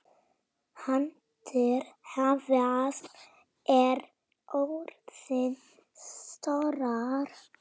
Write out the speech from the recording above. Hildir, hvað er jörðin stór?